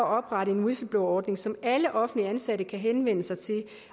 oprette en whistleblowerordning som alle offentligt ansatte kan henvende sig til det